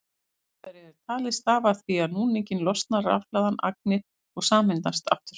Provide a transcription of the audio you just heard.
Fyrirbærið er talið stafa af því að við núninginn losna rafhlaðnar agnir og sameinast aftur.